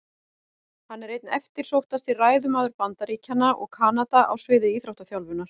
Hann er einn eftirsóttasti ræðumaður Bandaríkjanna og Kanada á sviði íþróttaþjálfunar.